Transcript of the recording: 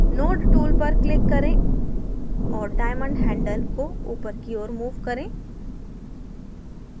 node tool पर click करें और diamond handle को ऊपर की और move करें